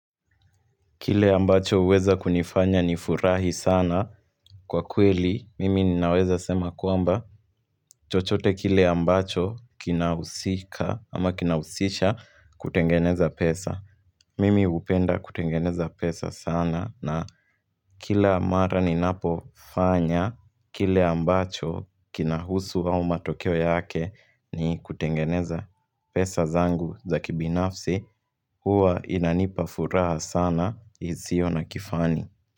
Kile ambacho huweza kunifanya ni furahi sana kwa kweli, mimi ninaweza sema kwamba chochote kile ambacho kinahusika ama kinausisha kutengeneza pesa. Mimi hupenda kutengeneza pesa sana na kila mara ninapofanya, kile ambacho kinahusu au matokeo yake ni kutengeneza pesa zangu za kibinafsi huwa inanipa furaha sana isio na kifani.